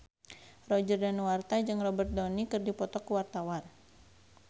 Roger Danuarta jeung Robert Downey keur dipoto ku wartawan